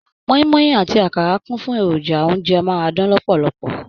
Mọ́í-mọ́í àti àkàrà kún fún èròjà oúnjẹ amárádán lọ̀pọ̀lọpọ̀